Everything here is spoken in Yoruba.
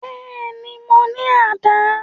Bẹ́ẹ̀ni, mo ni àdá